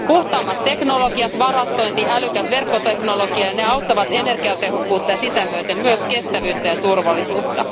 Puhtaammat teknologiat, varastointi ja älykäs verkkoteknologia auttavat energiatehokkuutta ja sitä myöten myös kestävyyttä ja turvallisuutta.